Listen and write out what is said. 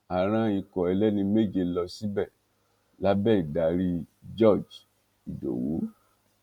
a rán ikọ ẹlẹni méje lọ síbẹ lábẹ ìdarí george ìdòwú